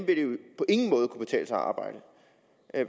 på ingen måde kan betale sig at arbejde